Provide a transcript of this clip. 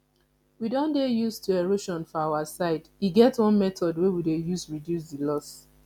we don dey used to erosion for our side e get one method we dey use to reduce the loss